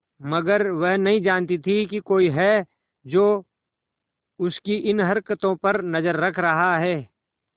मगर वह नहीं जानती थी कोई है जो उसकी इन हरकतों पर नजर रख रहा है